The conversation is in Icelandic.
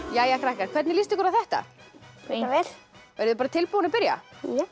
jæja krakkar hvernig líst ykkur á þetta bara vel eruð þið tilbúin að byrja